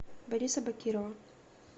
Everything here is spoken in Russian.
бориса бакирова